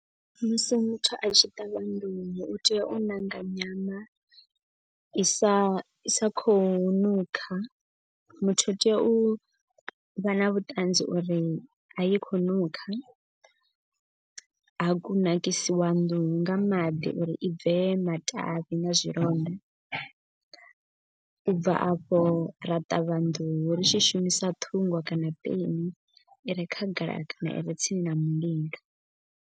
Musi muthu a tshi ṱavha nḓuhu u tea u ṋanga nyana i sa i sa khou nukha. Muthu u tea u vha na vhuṱanzi uri a i khou nukha ha kunakisiwa nḓuhu nga maḓi uri i bve matavhi na zwilonda. U bva afho ra ṱavha nḓuhu ri tshi shumisa ṱhungo kana peni i re kha gala kana ire tsini na mulilo.